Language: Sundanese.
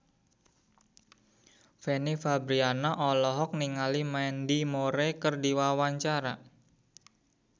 Fanny Fabriana olohok ningali Mandy Moore keur diwawancara